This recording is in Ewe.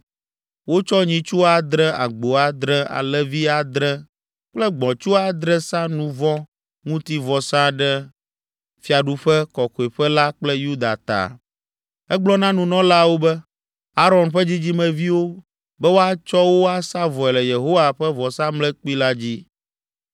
Wotsɔ nyitsu adre, agbo adre, alẽvi adre kple gbɔ̃tsu adre sa nu vɔ̃ ŋuti vɔsa ɖe fiaɖuƒe, Kɔkɔeƒe la kple Yuda ta. Egblɔ na nunɔlaawo, Aron ƒe dzidzimeviwo, be woatsɔ wo asa vɔe le Yehowa ƒe vɔsamlekpui la dzi.